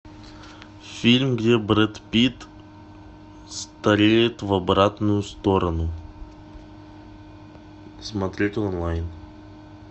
фильм где брэд питт стареет в обратную сторону смотреть онлайн